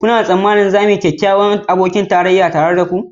Kuna tsammanin za mu yi kyakkyawan abokin tarayya tare da ku